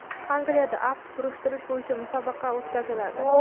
Angliyada aft burishtirish bo‘yicha musobaqa o‘tkaziladi.